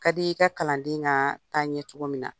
Ka di i ka kalanden ka taa ɲɛ cogo min na